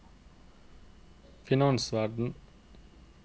finansverden